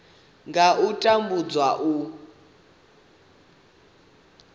nga ha u tambudzwa u